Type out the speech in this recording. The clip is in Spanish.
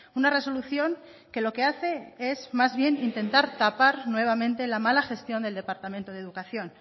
una resolución que lo que hace es más bien intentar tapar nuevamente la mala gestión del departamento de educación